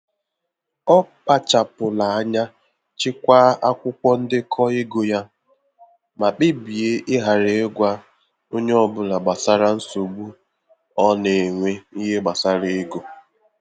Ọ kpachapụrụ anya chekwa akwụkwọ ndekọ ego ya, ma kpebie ịghara ịgwa onye ọ bụla gbasara nsogbu ọ na-enwe n'ihe gbasara ego.